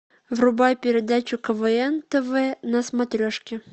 врубай передачу квн тв на смотрешке